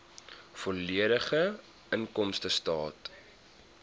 volledige inkomstestaat